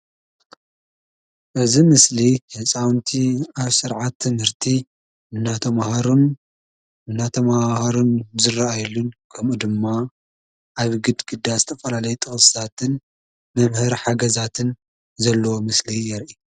እዚ ምስሊ ህፃውቲ ኣብ ስርዓት ትምህርቲ እንዳተማሃሩን እንዳተማሃሃሩ ዝረኣየሉ ከምኡ ድማ ኣብ ግድግዳ ዝተፈላለዩ ጥቅስታትን መምሀሪ ሓገዛት ዘለዎ ምስሊ የርኢ።